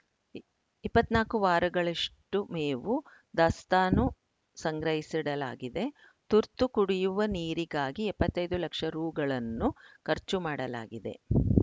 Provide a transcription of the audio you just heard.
ಇಪ್ಪತ್ತ್ ನಾಲ್ಕು ವಾರಗಳಷ್ಟುಮೇವು ದಾಸ್ತಾನು ಸಂಗ್ರಹಿಸಿಡಲಾಗಿದೆ ತುರ್ತು ಕುಡಿಯುವ ನೀರಿಗಾಗಿ ಎಪ್ಪತ್ತ್ ಐದು ಲಕ್ಷ ರುಗಳನ್ನು ಖರ್ಚು ಮಾಡಲಾಗಿದೆ